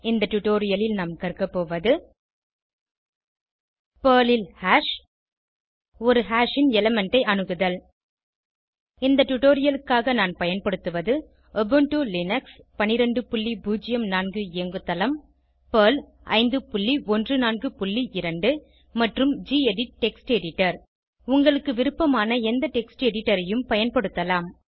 இந்த டுடோரியலில் நாம் கற்கபோவது பெர்ல் ல் ஹாஷ் ஒரு ஹாஷ் ன் எலிமெண்ட் ஐ அணுகுதல் இந்த டுடோரியலுக்காக நான் பயன்படுத்துவது உபுண்டு லினக்ஸ் 1204 இயங்குதளம் பெர்ல் 5142 மற்றும் கெடிட் டெக்ஸ்ட் எடிட்டர் உங்களுக்கு விருப்பமான எந்த டெக்ஸ்ட் எடிட்டர் ஐயும் பயன்படுத்தலாம்